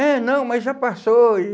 É, não, mas já passou. E